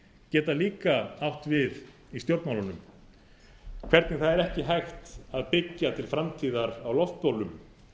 geta líka átt við í stjórnmálunum hvernig það er ekki hægt að byggja til framtíðar á loftbólum